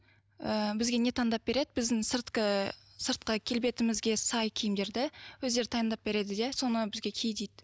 ыыы бізге не таңдап береді біздің сыртқы келбетімізге сай киімдерді өздері таңдап береді де соны бізге ки дейді